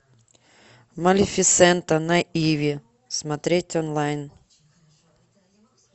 малефисента на иви смотреть онлайн